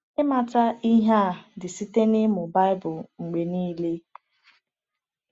Ịmata ihe a dị site n’ịmụ Baịbụl mgbe niile.